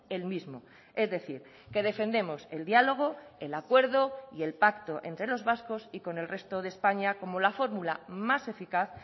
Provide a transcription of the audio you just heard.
el mismo es decir que defendemos el diálogo el acuerdo y el pacto entre los vascos y con el resto de españa como la fórmula más eficaz